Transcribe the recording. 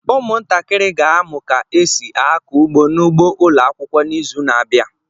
Ụmụntakịrị ga-amụ ka esi akọ ugbo n'ugbo ụlọakwụkwọ n'izu n'abịa.